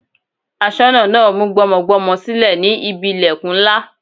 Aṣọ́nà náà mú gbọ́mọgbọ́mọ sílẹ̀ sí ibi ìlẹ̀kùn ńlá.